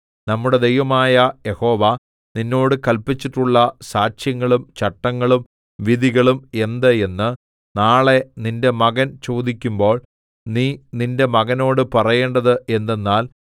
നമ്മുടെ ദൈവമായ യഹോവ നിന്നോട് കല്പിച്ചിട്ടുള്ള സാക്ഷ്യങ്ങളും ചട്ടങ്ങളും വിധികളും എന്ത് എന്ന് നാളെ നിന്റെ മകൻ ചോദിക്കുമ്പോൾ നീ നിന്റെ മകനോട് പറയേണ്ടത് എന്തെന്നാൽ